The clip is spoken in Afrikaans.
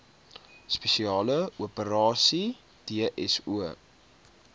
spesiale operasies dso